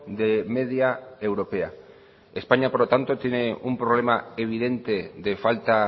de media europea españa por lo tanto tiene un problema evidente de falta